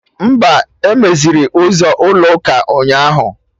Mba, emeziri ụzọ ụlọ ụka ụnyaahụ